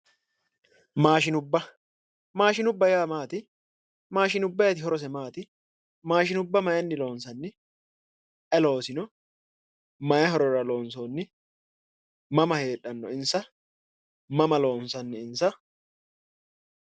Maashinubba, maashinubba yaa maati, maashinubbayiiti horose maati, maashinubba maayinni loonsanni? ayi loosino? mayi horora loonsoonni? mama heedhanno insa? mama loonsanni insa?